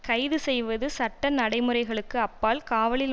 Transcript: கைது செய்வது சட்ட நடைமுறைகளுக்கு அப்பால் காவலில்